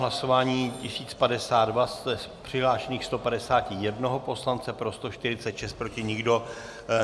Hlasování 1052, z přihlášených 151 poslance pro 146, proti nikdo.